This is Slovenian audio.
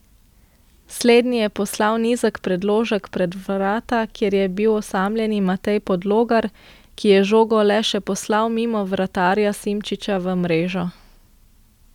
Slednji je poslal nizek predložek pred vrata, kjer je bil osamljeni Matej Podlogar, ki je žogo le še poslal mimo vratarja Simčiča v mrežo.